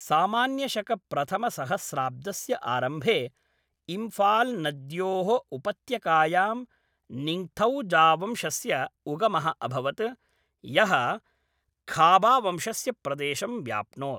सामान्यशक प्रथमसहस्राब्दस्य आरम्भे, इम्फाल् नद्योः उपत्यकायां, निङ्ग्थौजावंशस्य उगमः अभवत्, यः खाबावंशस्य प्रदेशं व्याप्नोत्।